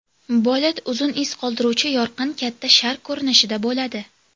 Bolid uzun iz qoldiruvchi yorqin katta shar ko‘rinishida bo‘ladi.